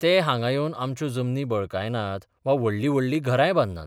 ते हांगां येवन आमच्यो जमनी बळकायनात वा व्हडलीं व्हडलीं घरांय बांदनात.